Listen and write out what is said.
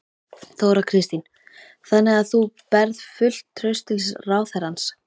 Þóra Kristín: Þannig að þú berð fullt traust til ráðherrans?